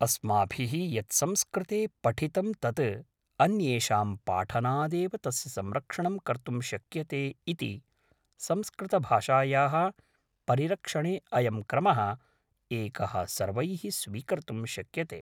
अस्माभिः यत् संस्कृते पठितं तत् अन्येषां पाठनादेव तस्य संरक्षणं कर्तुं शक्यते इति संस्कृतभाषायाः परिरक्षणे अयं क्रमः एकः सर्वैः स्वीकर्तुं शक्यते